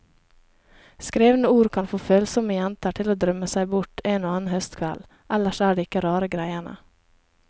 Skrevne ord kan få følsomme jenter til å drømme seg bort en og annen høstkveld, ellers er det ikke rare greiene.